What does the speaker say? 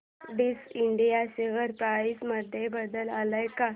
STC India share price मध्ये बदल आलाय का